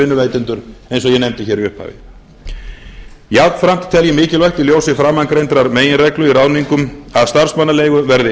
vinnuveitendur eins og ég nefndi í upphafi jafnframt tel ég mikilvægt í ljósi framangreindrar meginreglu í ráðningum að starfsmannaleigu verði